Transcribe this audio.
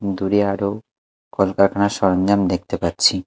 দূরে আরো কলকারখানার সরঞ্জাম দেখতে পাচ্ছি।